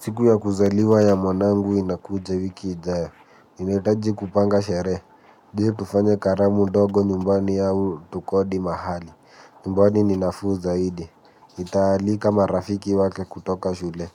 Siku ya kuzaliwa ya mwanangu inakuja wiki ijayo. Nahitaji kupanga sherehe. Je? Tufanye kalamu ndogo nyumbani au tukodi mahali. Nyumbani ni nafuu zaidi. Nitaalika marafiki wake kutoka shule.